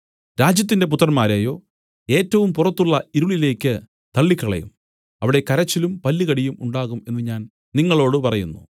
രാജ്യത്തിന്റെ പുത്രന്മാരെയോ ഏറ്റവും പുറത്തുള്ള ഇരുളിലേക്ക് തള്ളിക്കളയും അവിടെ കരച്ചിലും പല്ലുകടിയും ഉണ്ടാകും എന്നു ഞാൻ നിങ്ങളോടു പറയുന്നു